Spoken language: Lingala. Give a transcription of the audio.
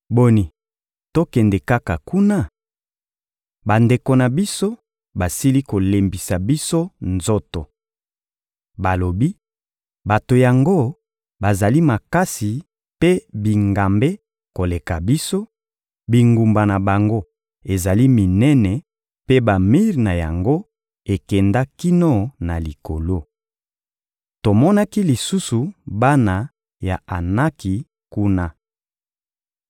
Boni, tokende kaka kuna? Bandeko na biso basili kolembisa biso nzoto. Balobi: ‹Bato yango bazali makasi mpe bingambe koleka biso, bingumba na bango ezali minene mpe bamir na yango ekenda kino na likolo. Tomonaki lisusu bana ya Anaki kuna.›»